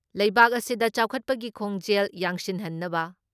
ꯂꯩꯕꯥꯛ ꯑꯁꯤꯗ ꯆꯥꯎꯈꯠꯄꯒꯤ ꯈꯣꯡꯖꯦꯜ ꯌꯥꯡꯁꯤꯟꯍꯟꯅꯕ